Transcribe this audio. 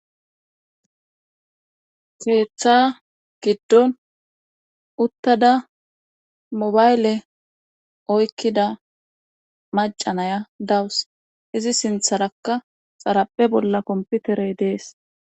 Keeththa giddon uttada mobayle oykkida macanaya dawus izi sintharakka xarape bolla komputerey dees.